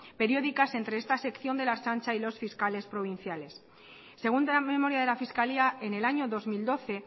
periódicas entre esta sección de la ertzaintza y los fiscales provinciales segunda memoria de la fiscalía en el año dos mil doce